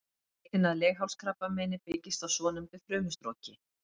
Leitin að leghálskrabbameini byggist á svonefndu frumustroki.